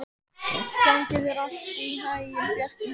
Gangi þér allt í haginn, Bjarki.